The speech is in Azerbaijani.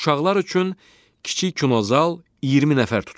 Uşaqlar üçün kiçik kinozal 20 nəfər tutur.